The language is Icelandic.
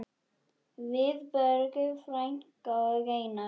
Vilborg frænka og Einar.